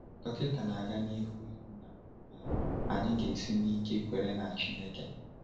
Dọkịta na-aga n’ihu ikwu na um anyị ga-esi n’ike kwere na Chineke.